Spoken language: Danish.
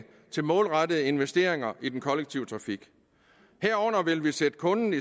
til målrettede investeringer i den kollektive trafik herunder vil vi sætte kunderne